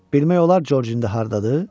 Bilmək olar Corcin də hardadır?